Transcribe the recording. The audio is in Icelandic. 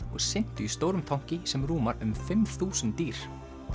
og syntu í stórum tanki sem rúmar um fimm þúsund dýr